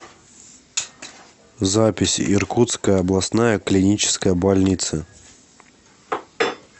запись иркутская областная клиническая больница